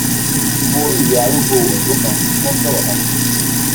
mo rí ìyá arúgbó òyìnbó kan tó nsọrọ kan sí